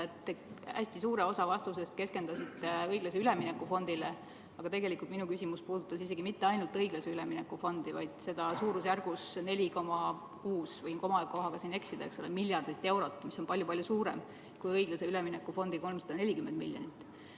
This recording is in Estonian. Hästi suur osa vastusest keskendus õiglase ülemineku fondile, aga tegelikult puudutas mu küsimus isegi mitte ainult õiglase ülemineku fondi, vaid seda suurusjärgus 4,6 miljardit eurot, mis on palju-palju suurem kui õiglase ülemineku fondi 340 miljonit.